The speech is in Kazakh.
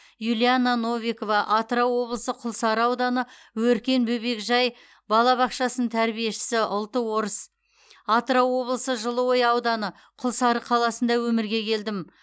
юлиана новикова атырау облысы құлсары ауданы өркен бөбекжай балабақшасының тәрбиешісі ұлты орыс атырау облысы жылыой ауданы құлсары қаласында өмірге келдім